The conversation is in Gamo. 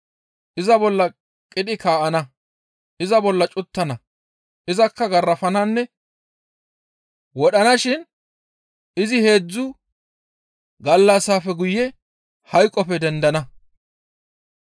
Iza bolla qidhi kaa7ana; iza bolla cuttana; izakka garafananne wodhanashin izi heedzdzu gallassafe guye hayqoppe dendana.»